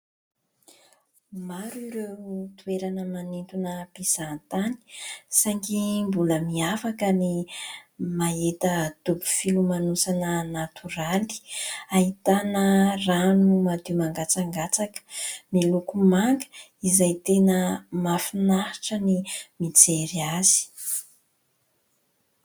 Maro ireo toerana manintona mpizahan- tany saingy mbola miavaka ny mahita dobo filomanosana natoraly, ahitana rano madio mangatsakatsaka miloko maga izay tena mahafinaritra ny mijery azy.